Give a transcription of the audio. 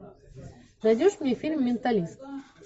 найдешь мне фильм менталист